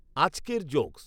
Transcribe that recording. আজকের জোকস্